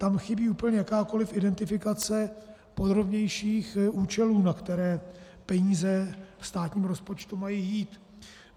Tam chybí úplně jakákoliv identifikace podrobnějších účelů, na které peníze v státním rozpočtu mají jít.